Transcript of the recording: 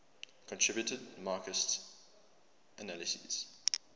contributed marxist analyses